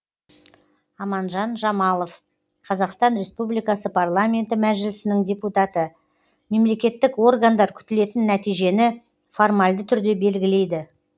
аманжан жамалов қазақстан республикасы парламенті мәжілісінің депутаты мемлекеттік органдар күтілетін нәтижені формальды түрде белгілейді